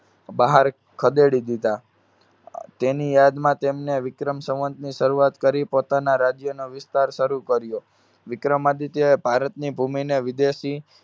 બહાર ખદેડી દીધા. અર તેની યાદમાં તેમને વિક્રમ સંવંતની શરૂઆત કરી પોતાના રાજ્યનો વિસ્તાર શરુ કર્યો. વિક્રમાદિત્યએ ભારતની ભૂમિને વિદેશી